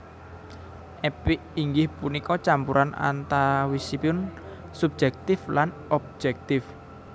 Epik inggih punika campuran antawisipun subjektif lan objektif